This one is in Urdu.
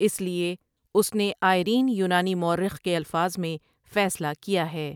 اس لیے اس نے آیرین یونانی مورخ کے الفاظ میں فیصلہ کیا ہے ۔